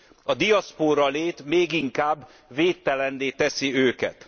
A diaszpóra lét még inkább védtelenné teszi őket.